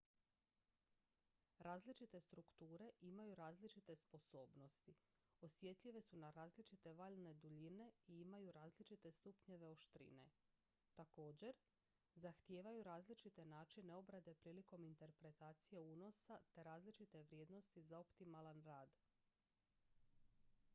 različite strukture imaju različite sposobnosti osjetljive su na različite valne duljine i imaju različite stupnjeve oštrine također zahtijevaju različite načine obrade prilikom interpretacije unosa te različite vrijednosti za optimalan rad